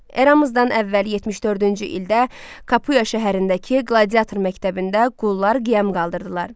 Eramızdan əvvəl 74-cü ildə Kapuya şəhərindəki qladiator məktəbində qullar qiyam qaldırdılar.